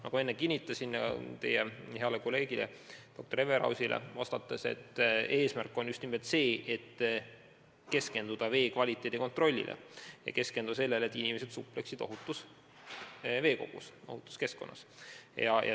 Nagu ma enne kinnitasin teie heale kolleegile doktor Everausile vastates, eesmärk on just nimelt keskenduda vee kvaliteedi kontrollile ja tagada, et inimesed supleksid ohutus veekogus, ohutus keskkonnas.